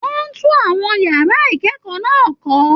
Wọn n tún àwọn yàrá ikẹkọọ náà kọ.